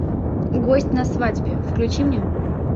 гость на свадьбе включи мне